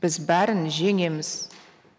біз бәрін жеңеміз